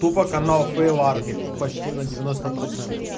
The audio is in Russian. тупа канал фейл арми почти на девяносто процентов